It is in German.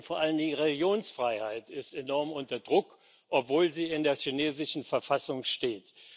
Und vor allen Dingen die Religionsfreiheit ist enorm unter Druck, obwohl sie in der chinesischen Verfassung steht.